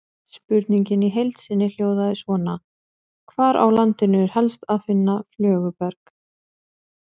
Spurningin í heild sinni hljóðaði svona: Hvar á landinu er helst að finna flöguberg?